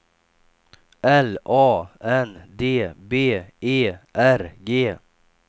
L A N D B E R G